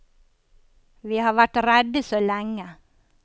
Vi har vært redde så lenge.